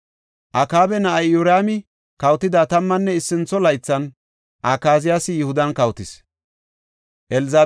Akaaba na7ay Iyoraami kawotida tammanne issintho laythan Akaziyaasi Yihudan kawotis.